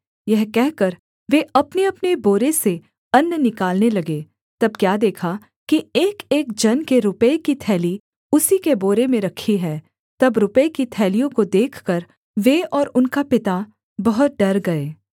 यह कहकर वे अपनेअपने बोरे से अन्न निकालने लगे तब क्या देखा कि एकएक जन के रुपये की थैली उसी के बोरे में रखी है तब रुपये की थैलियों को देखकर वे और उनका पिता बहुत डर गए